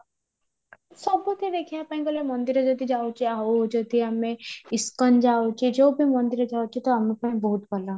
ସବୁଠି ଦେଖିବା ପାଇଁ ଗଲେ ମନ୍ଦିର ଯଦି ଯାଉଛେ ଆଉ ଯଦି ଆମେ ଇସ୍କନ ଯାଉଛେ ଯାଉ ବି ମନ୍ଦିର ଯାଉଛେ ତ ଆମ ପାଇଁ ବହୁତ ଭଲ